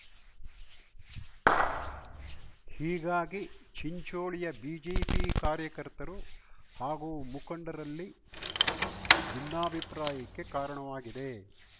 ಹೀಗಾಗಿ ಚಿಂಚೋಳಿಯ ಬಿಜೆಪಿ ಕಾರ್ಯಕರ್ತರು ಹಾಗೂ ಮುಖಂಡರಲ್ಲಿ ಭಿನ್ನಾಭಿಪ್ರಾಯಕ್ಕೆ ಕಾರಣವಾಗಿದೆ